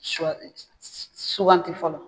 Shɔ suwanti fɔlɔ.